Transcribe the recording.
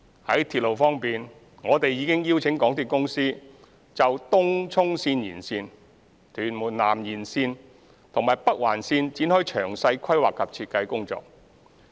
在鐵路方面，我們已經邀請香港鐵路有限公司就東涌綫延綫、屯門南延綫和北環綫展開詳細規劃及設計工作。